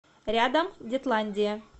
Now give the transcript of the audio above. рядом детландия